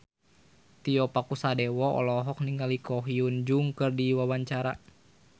Tio Pakusadewo olohok ningali Ko Hyun Jung keur diwawancara